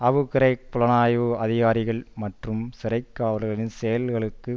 Abu Ghraib புலனாய்வு அதிகாரிகள் மற்றும் சிறை காவலர்களின் செயல்களுக்கு